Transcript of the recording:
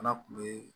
Fana kun be